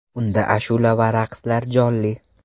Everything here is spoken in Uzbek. Unda ashula va raqslar jonli.